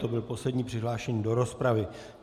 To byl poslední přihlášený do rozpravy.